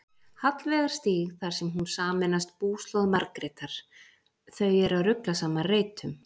Hallveigarstíg þar sem hún sameinast búslóð Margrétar: þau eru að rugla saman reytum.